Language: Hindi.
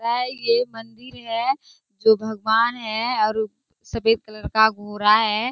है ये मंदिर है जो भगवान है और सफ़ेद कलर का गोरा है।